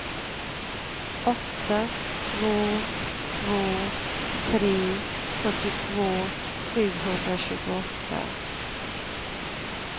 åtta två två tre fyrtiotvå sjuhundratjugoåtta